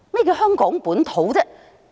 何謂"香港本土"呢？